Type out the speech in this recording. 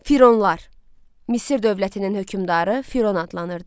Fironlar, Misir dövlətinin hökmdarı Firon adlanırdı.